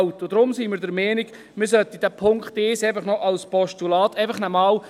Deshalb sind wir der Meinung, man solle den Punkt 1 als Postulat mitnehmen.